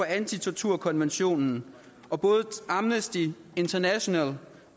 antitorturkonventionen og både amnesty international